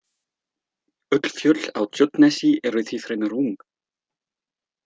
Öll fjöll á Tjörnesi eru því fremur ung.